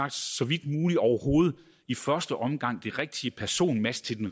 vidt muligt overhovedet i første omgang får det rigtige personmatch til den